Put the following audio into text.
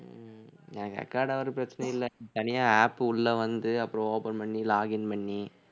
உம் எனக்கு record ஆவுறது பிரச்சனை இல்லை தனியா app உள்ள வந்து அப்புறம் open பண்ணி login பண்ணி